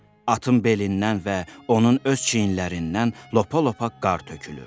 Atın belindən və onun öz çiyinlərindən lopa-lopa qar tökülür.